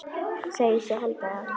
Segist svo halda það.